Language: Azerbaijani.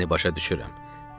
Səni başa düşürəm.